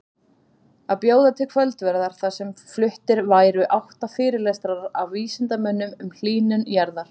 Að bjóða til kvöldverðar þar sem fluttir væru átta fyrirlestrar af vísindamönnum um hlýnun jarðar.